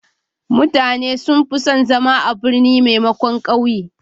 Mutane sun fi son zama a birni maimakon a ƙauye.